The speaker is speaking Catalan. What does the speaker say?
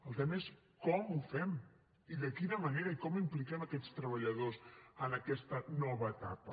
el tema és com ho fem i de quina manera i com impliquem aquests treballadors en aquesta nova etapa